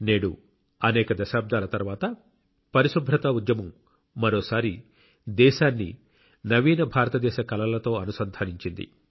నేడు అనేక దశాబ్దాల తర్వాత పరిశుభ్రతా ఉద్యమం మరోసారి దేశాన్ని నవీన భారతదేశ కలలతో అనుసంధానించింది